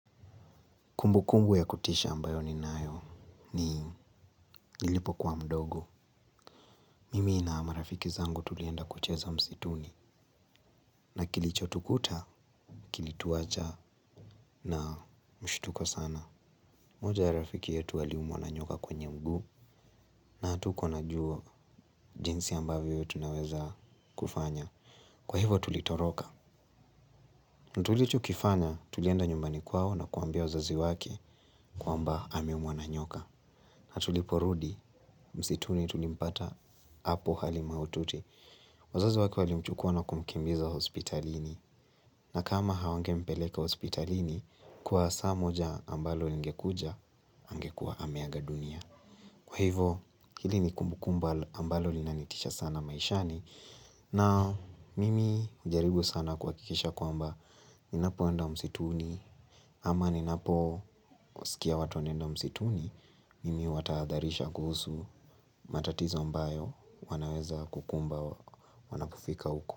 Kumbukumbu ya kutisha ambayo ninayo ni nililipokuwa mdogo. Mimi na marafiki zangu tulienda kucheza msituni. Na kilichotukuta, kilituwacha na mshtuko sana. Moja ya rafiki yetu aliumwa na nyoka kwenye mguu. Na hatuko na juo jinsi ambavyo tunaweza kufanya. Kwa hivo tulitoroka. Na tulichokifanya tulienda nyumbani kwao na kuambia wazazi wake kwamba ameumwa na nyoka. Na tuliporudi, msituni tulimpata apo hali mahutiti wazazi wake walimchukua na kumkimbiza hospitalini na kama hawangempeleka hospitalini kwa saa moja ambalo lingekuja angekua ameaga dunia kwa hivo, hili ni kumbukumbu ambalo linanitisha sana maishani na mimi ujaribu sana kuhakikisha kwamba ninapoenda msituni ama ninaposikia wanaenda msituni. Mimi huwataadharisha kuhusu matatizo mbayo wanaweza kukumba wanapofika huko.